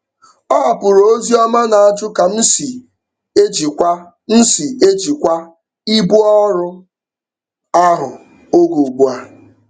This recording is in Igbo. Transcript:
Ọ hapụrụ ozi ọma na-ajụ ka m si ejikwa m si ejikwa ibu ọrụ ahụ oge ugbu a.